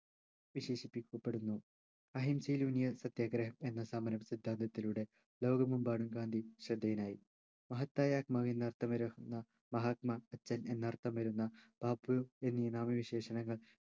വിശേഷിപ്പിക്കപ്പെടുന്നു അഹിംസയിലൂന്നിയ സത്യാഗ്രഹം എന്ന സമര സിദ്ധാന്തത്തിലൂടെ ലോകമെമ്പാടും ഗാന്ധി ശ്രദ്ധേയനായി മഹത്തായ മകൻ എന്നർത്ഥം വരുന്ന മഹാത്മാ അച്ഛൻ എന്നർത്ഥം വരുന്ന ബാപ്പു എന്നീ നാമ വിശേഷണങ്ങൾ